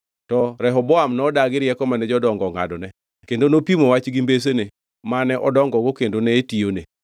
To Rehoboam nodagi rieko mane jodongo ongʼadone kendo nopimo wach gi mbesene mane odongogo kendo ne tiyone.